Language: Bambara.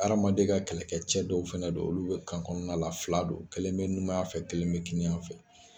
Hadamaden ka kɛlɛkɛ cɛ dɔw fana don olu bɛ kan kɔnɔna la, fila don, kelen bɛ numanyan fɛ, kelen bɛ kini fɛ.